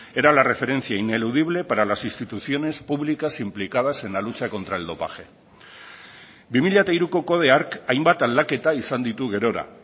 era la referencia ineludible para las instituciones públicas implicadas en la lucha contra el dopaje bi mila hiruko kodea hark hainbat aldaketa izan ditu gerora